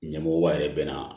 Ɲɛmɔgɔba yɛrɛ bɛ na